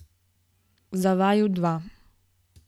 Za vaju dva.